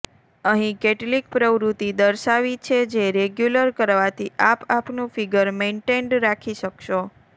અહીં કેટલીક પ્રવૃત્તિ દર્શાવી છે જે રેગ્યુલર કરવાથી આપ આપનું ફીગર મેઈનટેઈન્ડ રાખી શકશો